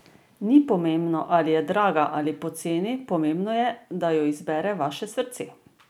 Ni pomembno, ali je draga ali poceni, pomembno je, da jo izbere vaše srce.